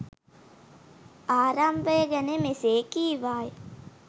ආරම්භය ගැන මෙසේ කීවාය.